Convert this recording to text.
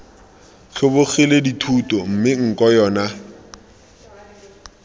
tlhobogile dithuto mme nko yona